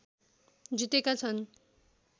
जितेका छन्